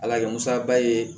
Ala kɛ musaba ye